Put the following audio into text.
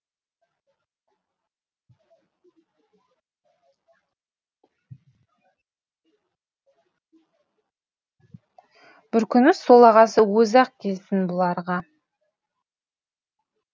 бір күні сол ағасы өзі ақ келсін бұларға